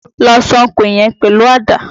Lọ ṣánko yẹn pẹ̀lú Àdá!